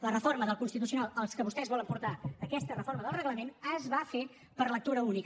la reforma del constitucional al que vostès volen portar aquesta reforma del reglament es va fer per lectura única